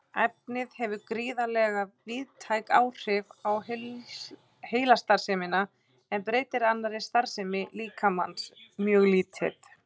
Efnið hefur gríðarlega víðtæk áhrif á heilastarfsemina en breytir annarri starfsemi líkamans mjög lítið.